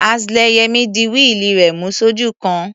Axle Yẹmí di wíìlì rẹ̀ mú sójú kan.